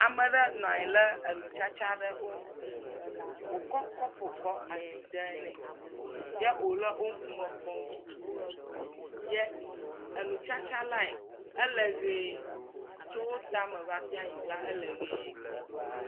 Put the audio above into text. Ame aɖe nɔ anyi le enu tsiatsia ɖe ŋgɔ, wòkɔ kɔpu le asi dem nɛ ye wòle ŋkume me kpɔm nɛ tutuutu ye enutsatsa lae ele ʋe tso tame va se anyigba yibɔ le eme.